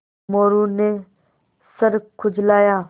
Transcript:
मोरू ने सर खुजलाया